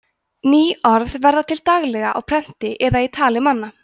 ný orð verða til daglega á prenti eða í tali manna